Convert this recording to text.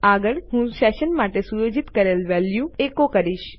આગળ હું સેશન માટે સુયોજિત કરેલ વેલ્યુ એકો કરીશ